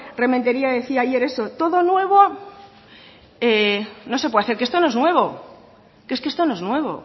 rementeria decía ayer eso todo nuevo no se puede hacer que esto no es nuevo que es que esto no es nuevo